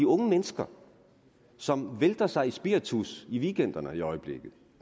unge mennesker som vælter sig i spiritus i weekenderne i øjeblikket